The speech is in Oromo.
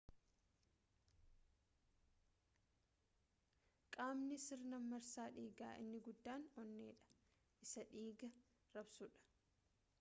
qaamni sirna marsaa dhiigaa inni guddaan onneedha isa dhiiga raabsuudha